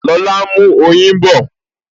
Lọlá n mú oyin bọ̀